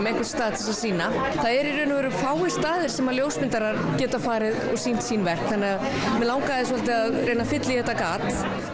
einhvern stað til þess að sýna það eru í raun og veru fáir staðir sem ljósmyndarar geta farið og sýnt sín verk þannig að mig langaði svolítið að reyna að fylla í þetta gat